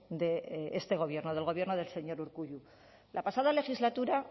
de este gobierno del gobierno del señor urkullu la pasada legislatura